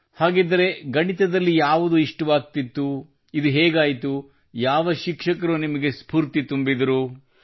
ಹಾಗಿದ್ದರೆ ಗಣಿತದಲ್ಲಿ ಯಾವುದು ಇಷ್ಟವಾಗುತ್ತಿತ್ತುಇದು ಹೇಗಾಯಿತು ಯಾವ ಶಿಕ್ಷಕರು ನಿಮಗೆ ಸ್ಫೂರ್ತಿ ತುಂಬಿದರು